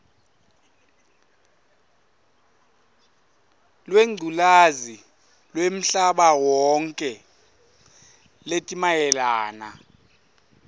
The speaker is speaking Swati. lwengculazi lwemhlabawonkhe letimayelana